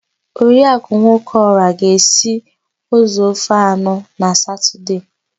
Oriakụ Nwokeọra ga-esi ụzọ ofe anọ na satọdee.